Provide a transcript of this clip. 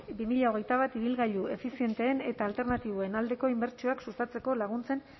pavea bi mila hogeita bat ibilgailu efizienteen eta alternatiboen aldeko inbertsioak sustatzeko laguntzen